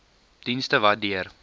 dienste wat deur